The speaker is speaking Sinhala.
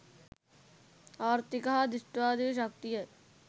ආර්ථික හා දෘෂ්ටිවාදී ශක්තිය